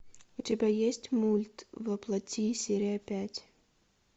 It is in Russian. у тебя есть мульт во плоти серия пять